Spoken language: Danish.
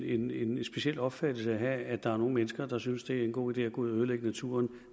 en lidt speciel opfattelse at have at der er nogle mennesker der synes det er en god idé at gå ud og ødelægge naturen